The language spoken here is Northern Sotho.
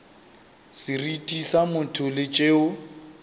seriti sa motho le tšeo